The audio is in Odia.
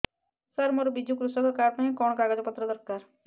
ସାର ମୋର ବିଜୁ କୃଷକ କାର୍ଡ ପାଇଁ କଣ କାଗଜ ପତ୍ର ଦରକାର